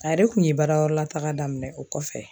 ale kun ye baarayɔrɔ lataga daminɛ o kɔfɛ